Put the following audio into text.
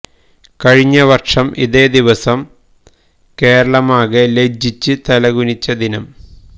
കഴിഞ്ഞ വര്ഷം ഇതേ ദിവസം കേരളമാകെ ലജ്ജിച്ച് തലകുനിച്ച ദിനം